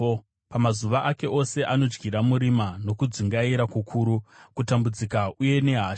Pamazuva ake ose anodyira murima, nokudzungaira kukuru, kutambudzika uye nehasha.